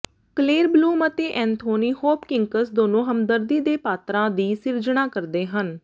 Kaler Bloom ਅਤੇ Anthony Hopkins ਦੋਨੋ ਹਮਦਰਦੀ ਦੇ ਪਾਤਰਾਂ ਦੀ ਸਿਰਜਣਾ ਕਰਦੇ ਹਨ